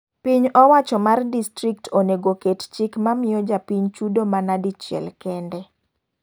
Piny owacho mar distrikt onego oket chik mamiyo japiny chudo mana dichiel kende.